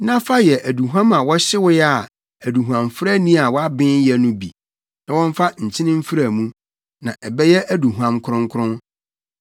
na fa yɛ aduhuam a wɔhyewee a aduhuamfrani a waben yɛ no bi, na wɔmfa nkyene mfra mu; na ɛbɛyɛ aduhuam kronkron.